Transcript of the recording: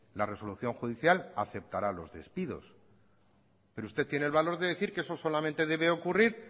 la resolución judicial aceptará los despidos pero usted tiene el valor de decir que eso solamente debe ocurrir